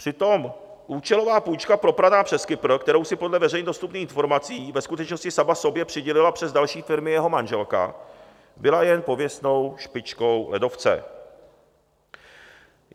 Přitom účelová půjčka propraná přes Kypr, kterou si podle veřejně dostupných informací ve skutečnosti sama sobě přidělila přes další firmy jeho manželka, byla jen pověstnou špičkou ledovce.